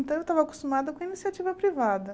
Então, eu estava acostumada com a iniciativa privada.